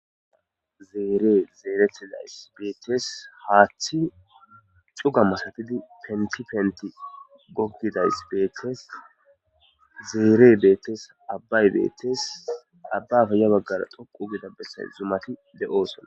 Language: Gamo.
Zere zeretizayis misates haththi cuga masatizi penti penti gogozayis betes zere betes abay betes abappe ya bagara dhoqu giza besay zumati deosona.